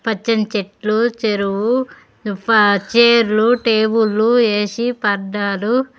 పచ్చని చెట్లు చెరువు పా--చేర్లు టేబుల్లు ఏ_సి పరదాలు.